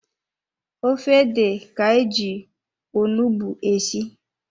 Ofe ede ka-eji onugbu esi.